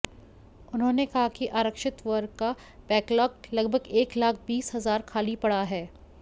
उन्होंने कहा कि आरक्षित वर्ग का बैकलाग लगभग एक लाख बीस हजार खाली पड़ा है